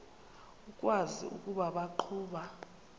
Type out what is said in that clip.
ukwazi ukuba baqhuba